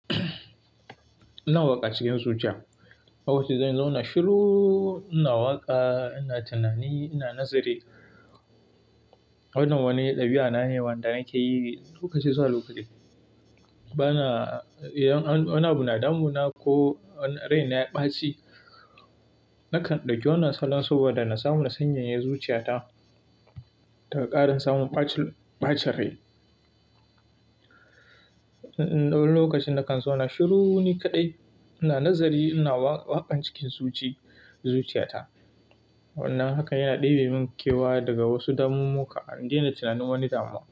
Ina waƙa cikin zuciya. Lokacin da zan zauna shiru, ina waƙa, ina tunani, ina nazari. Wannan wani ɗabi'a na ne wanda nake yi lokaci zuwa lokaci. Ba na, idan wani abu na damuna ko rai na ya ɓaci, nakan ɗauki wani salon saboda na samu na sanyanya zuciyata daga ƙarin samun ɓacin rai. Wani lokacin na kan zauna shiru ni kaɗai, ina nazari, ina waƙan cikin zuci, zuciyata. Wannan haka yana ɗebe mun kewa daga wasu damummuka, in daina tunanin wani damuwa.